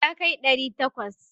Yakai ɗari takwas.